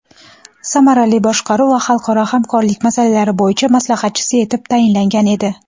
samarali boshqaruv va xalqaro hamkorlik masalalari bo‘yicha maslahatchisi etib tayinlangan edi.